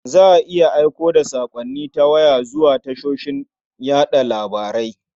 Za a iya aiko da saƙonni ta waya zuwa tashoshin yaɗa labarai.